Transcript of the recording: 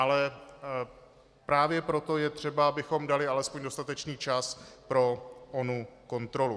Ale právě proto je třeba, abychom dali alespoň dostatečný čas pro onu kontrolu.